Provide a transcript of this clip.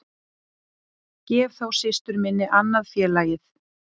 Gef þá systur minni annað félagið